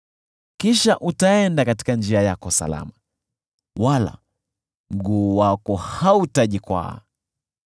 Kisha utaenda katika njia yako salama, wala mguu wako hautajikwaa;